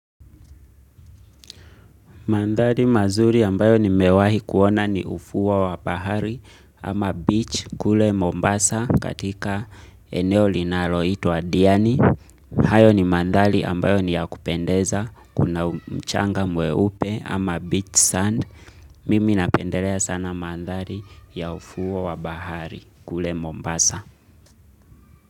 Mandhari mazuri ambayo ni mewahi kuona ni ufuo wa bahari ama beach kule Mombasa katika eneo linaloitwa Diani. Hayo ni mandhali ambayo ni ya kupendeza kuna mchanga mwe upe ama beach sand. Mimi napendelea sana mandhari ya ufuo wa bahari kule Mombasa.